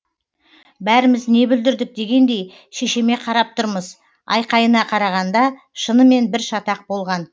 бәріміз не бүлдірдік дегендей шешеме қарап тұрмыз айқайына қарағанда шынымен бір шатақ болған